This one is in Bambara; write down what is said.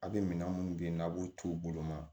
A' bɛ minɛn minnu bɛ yen n'a b'u t'u bolo ma